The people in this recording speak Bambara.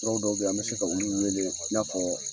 Nɔrɔ dɔw bɛ yi an bi se ka olu weele i n'a fɔ